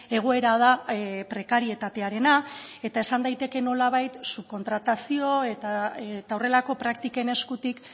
egoera da prekarietatearena eta esan daiteke nolabait subkontratazio eta horrelako praktiken eskutik